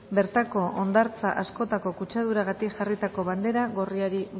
bertako hondartza askotako kutsaduragatik jarritako bandera gorriari